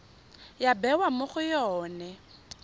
ya bewa mo go yone